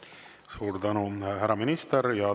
Suur tänu, härra minister!